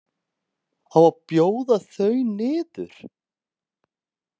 Á að bjóða þau niður?